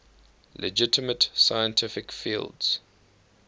legitimate scientific fields